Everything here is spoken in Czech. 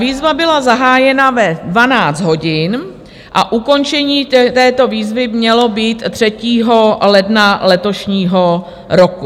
Výzva byla zahájena ve 12 hodin a ukončení této výzvy mělo být 3. ledna letošního roku.